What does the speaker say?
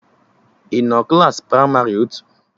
I nọ Klassị pramarị otu?